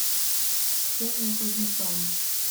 ксения кузнецова